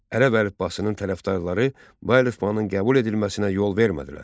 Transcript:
Ərəb əlifbasının tərəfdarları bu əlifbanın qəbul edilməsinə yol vermədilər.